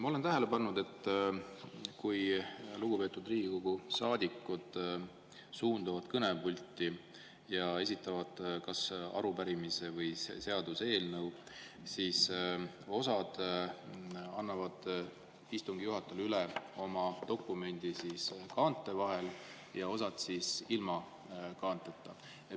Ma olen tähele pannud, et kui lugupeetud Riigikogu saadikud suunduvad kõnepulti ja esitavad kas arupärimise või seaduseelnõu, siis osa annab istungi juhatajale oma dokumendi üle kaante vahel ja osa ilma kaanteta.